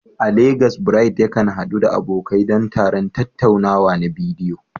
A Legas, Bright yakan haɗu da abokai don taron tattaunawa na bidiyo.